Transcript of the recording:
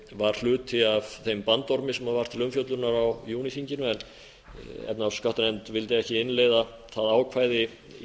var hluti af þeim bandormi sem var til umfjöllunar á júníþinginu en efnahags og skattanefnd vildi ekki innleiða það ákvæði í